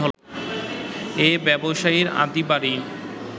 এই ব্যবসায়ীর আদি বাড়ি